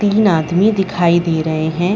तीन आदमी दिखाई दे रहे हैं।